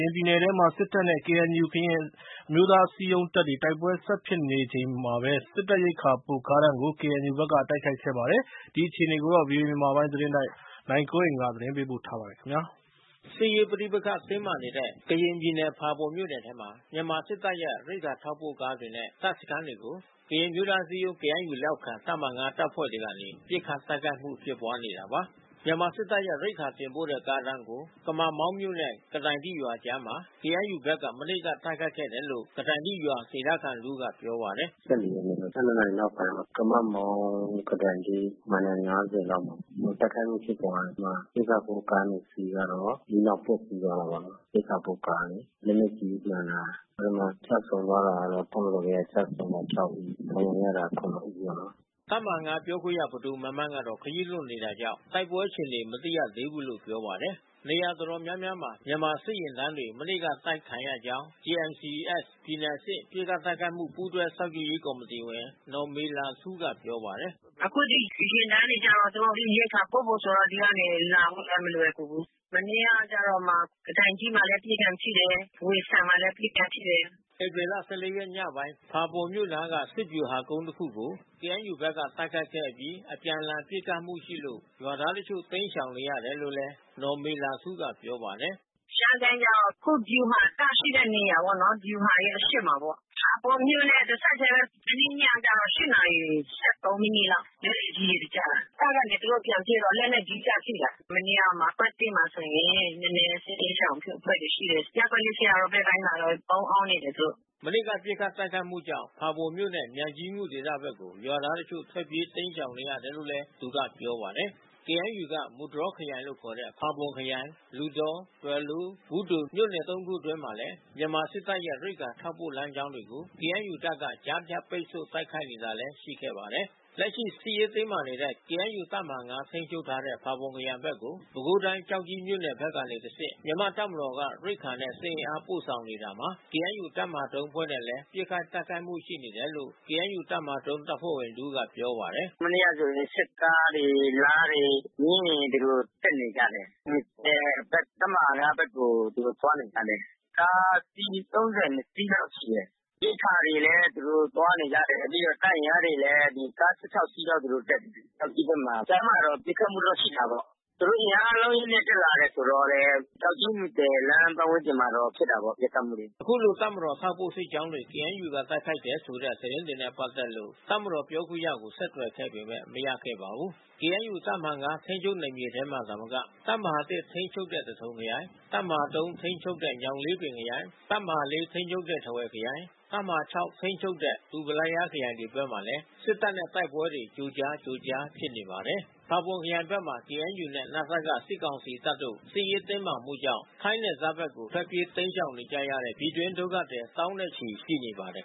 င်ပြည်နယ်ထဲမှာ စစ်တပ်နဲ့ KNU ကရင်အစည်းအရုံးတပ်တွေ တိုက်ပွဲဆက်ဖြစ်နေတာမှာ စစ်တပ်ရိက္ခာပို့ ကားတန်းတွေကို KNU ဖက်ကတိုက်ခိုက်ခဲ့ပါတယ်။ ဒီအခြေအနေကို ဗွီအိုအေ မြန်မာပိုင်းသတင်းထောက် နိုင်ကွန်းအိန်က သတင်းပေးပို့ထားပါတယ်။ စစ်ရေးပဋိပက္ခတင်းမာနေတဲ့ ကရင်ပြည်နယ်ဖာပွန်မြို့နယ်ထဲမှာ မြန်မာစစ်တပ်ရဲ့ရိက္ခာထောက်ပို့ကားတွေနဲ့ တပ်စခန်းတွေကို ကရင်အမျိုးသားအစည်းအရုံး KNU လက်အောက်ခံ တပ်မဟာ ၅ တပ်ဖွဲ့တွေကနေ ပစ်ခတ်တိုက်ခိုက်တာပါ။ မြန်မာစစ်တပ်ရဲ့ရိက္ခာတင်ပို့တဲ့ ကားတန်းတွေကို ကမာ့မောင်းမြို့နဲ့ ကတိုင်တိရွာအကြားမှာ KNU ဘက်က မနေ့က တိုက်ခိုက်ခဲ့တယ်လို့ ကတိုင်တိ ရွာ ဒေသခံတစ်ဦးကပြောပါတယ်။ “၁၄ ရက်နေ့ ၁၂ နာရီနောက်ပိုင်းပေါ့။ ကမာ့မောင်း ကတိုင်တိ မိုင်တိုင် ၅၀ လောက်မှာ တိုက်ခိုက်မှုဖြစ်ပွါးတယ်။ အဲဒီမှာရိက္ခာပို့ကား ၂ စီးကတော့ မီးလောင်ပျက်စီးသွားတာပေါ့နော်။ ရိက္ခာပို့ကား။ လက်နက်ကြီးမှန်တာ။ အဲဒီမှာ ကျဆုံးသွားတာကတော့ တပ်မတော်ဘက်က ကျဆုံးတာ ၆ ဦး။ ဒဏ်ရာရတာ ၇ ဦးပေါ့နော်။” ဒီ ထိခိုက် သေဆုံးတဲ့ အရေအတွက်နဲ့ပတ်သက်လို့ ဗွီအိုအေက သီးခြားအတည်မပြုနိုင်ပါဘူး။ တပ်မဟာ ၅ ပြောခွင့်ရ ပဒိုမန်းမန်းကတော့ ခရီးလွန်နေတာကြောင့် တိုက်ပွဲအခြေအနေ မသိရသေးဘူးလို့ပြောပါတယ်။ နေရာတော်တော်များများမှာ မြန်မာစစ်ယဉ်တန်းတွေ မနေ့က တိုက်ခံရကြောင်း JMC-S ပြည်နယ်အဆင့် ပစ်ခတ် တိုက်ခိုက်မှု ပူးတွဲစောင့် ကြည့်ရေးကော်မီတီဝင် နော်မေလာထူးက ပြောပါတယ်။ “အခုဒီယာဉ်တန်းတွေကျတော့ သူတို့ရိက္ခာပို့ဖို့ဆိုတာ ဒီကနေလာဖို့လည်းမလွယ်ကူဘူး။ မနေ့ကကျတော့မှ ကတိုင်တိမှာလည်း ပစ်ခံထိတယ်။ ဝှေဆန်မှာလည်း ပစ်ခံထိတယ်။” ဧပြီ ၁၄ ရက်ညပိုင်းမှာ ဖာပွန်မြို့အနားက စစ်ဗျူဟာကုန်းတစ်ခုကို KNU ဘက်ကတိုက်ခိုက်ခဲ့အပြီး အပြန်လှန်ပစ်ခတ်မှုရှိလို့ ရွာသားတချို့တိမ်းရှောင်နေရတယ်လို့လည်း နော်မေလာထူးက ပြောပါတယ်။ “ရှမ်းကိုင်းကျတော့အခုဗျူဟာတပ်ရှိတဲ့နေရာပေါ့နော်။ ဗျူဟာရဲ့အရှေ့မှာပေါ့။ ဖာပွန်မြို့နဲ့တဆက်ထဲပဲ။ မနေ့ညက ၈ နာရီ ၁၃ မိနစ်လောက်။ လက်နက်ကြီးတွေကျတယ်။ မနေ့ကမှ ကွက်သစ်မှာဆိုရင် နည်းနည်း စစ်ဘေးရှောင်အဖွဲ့တွေရှိတယ်။ ရပ်ကွက် ၄ ဆရာတော်ဘက်ပိုင်းမှာတော့ ပုန်းအောင်းနေတယ်သူတို့။” မနေ့က ပစ်ခတ်တိုက်ခိုက်မှုကြောင့် ဖာပွန်မြို့နဲ့မြိုင်ကြီးငူဒေသဘက်ကို ရွာသားတချို့ ထွက်ပြေး တိမ်းရှောင်နေရတယ်လို့လည်း သူက ပြောပါတယ်။ KNU က မူတြော်ခရိုင်လို့ခေါ်တဲ့ ဖာပွန်ခရိုင် လူသော၊ ဒွယ်လိုး၊ ဘူးသို၊ မြို့နယ် သုံးခုအတွင်းမှာလည်း မြန်မာစစ်တပ်ရဲ့ ရိက္ခာထောက်ပို့လမ်းကြောင်းတွေကို KNU တပ်တွေက ကြားဖြတ်ပိတ်ဆို့ တိုက်ခိုက်နေတာတွေလည်းရှိပါတယ်။ လက်ရှိ စစ်ရေးတင်းမာနေတဲ့ KNU တပ်မဟာ ၅ ထိန်းချုပ်ထားတဲ့ ဖာပွန်ခရိုင်ဘက်ကို ပဲခူးတိုင်း ကျောက်ကြီးမြို့နယ်ဖက်ကနေတဆင့် မြန်မာတပ်မတော်က ရိက္ခာနဲ့စစ်အင်အားပို့ဆောင်နေတာမှာ KNU တပ်မဟာ ၃ အဖွဲ့တွေနဲ့လည်း ပစ်ခတ်တိုက်ခိုက်မှုတွေရှိနေတယ်လို့ KNU တပ်မဟာ ၃ အဖွဲ့ဝင်တဦးကပြောပါတယ်။ “ဟိုမနေ့ကဆိုရင် စစ်ကားတွေ လားတွေ မြင်းရယ် ဒီလိုတက်နေကြတယ်။ မူသဲဘက် တပ်မဟာ ၅ ဘက်ကို သူတို့သွားနေကြတယ်။ ကားအစီး ၃၂ စီးလောက်ရှိတယ်။ ရိက္ခာတွေလည်း သူတို့သွားနေကြတယ်။ ပြီးတော့တပ်အင်အားတွေလဲ ကား ၁၆ စီးလောက် သူတို့တက်တယ်။ ကျောက်ကြီးဘက်မှ၊ာ ကြားမှာတော့ ပစ်ခတ်မှုတော့ရှိတာပေါ့။ သူတို့အင်အား အလုံးအရင်းနဲ့တက်လာတယ်ဆိုတော့လည်း ကျောက်ကြီး မူသဲလမ်းပါတ်ဝန်းကျင်မှာဖြစ်တာပေါ့ ပစ်ခတ်မှုတွေ။” အခုလို တပ်မတော် ထောက်ပို့စစ်ကြောင်းတွေကို KNU ကတိုက်ခိုက်တယ်ဆိုတဲ့ သတင်းတွေနဲ့ပတ်သက်လို့ စစ်ကောင်စီပြောခွင့်ရကို ဆက်သွယ်ခဲ့ပေမဲ့ မရခဲ့ပါဘူး။ ကေအန်ယူ တပ်မဟာ ၅ ထိန်းချုပ်နယ်ထဲမှာသာမက တပ်မဟာ ၁ ထိန်းချုပ်တဲ့ သထုံခရိုင်၊ တပ်မဟာ ၃ ထိန်းချုပ်တဲ့ ညောင်လေးပင်ခရိုင်၊ တပ်မဟာ ၄ ထိန်းချုပ်တဲ့ ထားဝယ်ခရိုင်၊ တပ်မဟာ ၆ ထိန်းချုပ်တဲ့ ဒူးပလာယားခရိုင်တွေဖက်မှာလည်း စစ်တပ်နဲ့ တိုက်ပွဲတွေ ကြိုကြား ကြိုကြားဖြစ်နေပါတယ်။ ဖာပွန်ခရိုင်ဖက်မှာ KNUနဲ့ နစက စစ်ကောင်စီတပ်တို့ စစ်ရေးတင်းမာမှုကြောင့် ထိုင်းနယ်စပ်ဖက် ထွက်ပြေးတိမ်းရှောင်နေကြရတဲ့ ပြည်တွင်းဒုက္ခသည် သောင်းနဲ့ချီ ရှိနေပါတယ်